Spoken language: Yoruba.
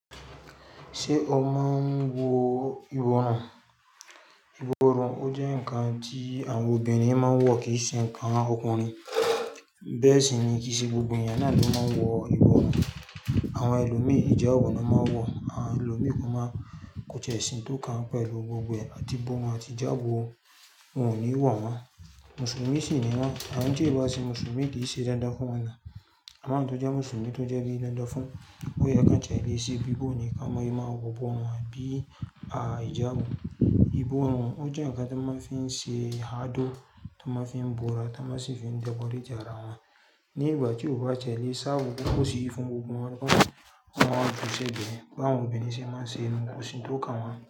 Ṣé o máa ń wọ ìbọrùn? Ìbọrùn ó jẹ́ ǹkan tí àwọn obìnrin máa ń wọ̀ kì í ṣe ǹkan ọkùnrin. Bẹ́ẹ̀ sì ni, kì í ṣe gbogbo ènìyàn náà ló máa ń wọ ìbọrùn. Àwọn ẹlòmíràn ìjàbọ̀ ni wọ́n máa ń wọ, àwọn ẹlòmíràn kò máa ń kó tí è ṣi n tó kàn pẹ̀lú gbogbo ẹ̀, àtì ibọ̀run àti ìjàbọ̀ wọn ò ní wọ̀ wọ́n. Mùsùlùmí sì ni wọ́n, àwọn tí ìbá ṣe mùsùlùmí kì í ṣe dandan fún wọn náà. Awọn tó jẹ́ mùsùlùmí tó jẹ́ bi dandan fún, bóye kí wọ́n tiẹ lẹ̀ se bíbọ̀ ni ká máa yí máa wọ bọ̀ wọ́n àbí àìjàbọ̀. Ìbọrùn ó jẹ́ ǹkan tí wọ́n máa ń fi ṣe àádó, tí wọ́n máa ń fi bora, tí wọ́n sì fi dekọ̀reti ara wọn. Ni ìgbà tí ò bá ṣẹlẹ̀, sáà bó tí kò sí fún gbogbo wọn bó tí wọn kò fi ṣẹ̀ bẹ́ẹ̀, báwọn obìnrin ṣe máa ń ṣe ń kó sì ń tó kàn wọ́n.